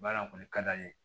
Baara kɔni ka d'an ye